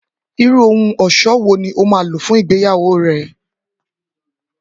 Irú ohun ọ̀ṣọ́ wo ni o máa lò fún ìgbéyàwó rẹ